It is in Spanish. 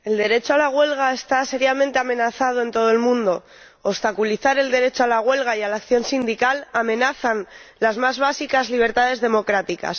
Señora Presidenta, el derecho a la huelga está seriamente amenazado en todo el mundo. Obstaculizar el derecho a la huelga y a la acción sindical amenaza las más básicas libertades democráticas.